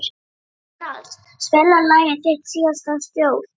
Emerald, spilaðu lagið „Þitt síðasta skjól“.